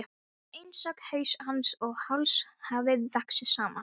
Það er einsog haus hans og háls hafi vaxið saman.